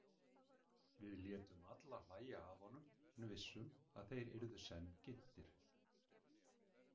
Við létum alla hlæja að honum en vissum að þeir yrðu senn ginntir.